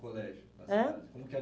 colégio da cidade? Ãh? Como que era?